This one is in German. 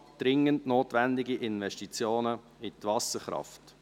«Dringend notwendige Investition in die Wasserkraft».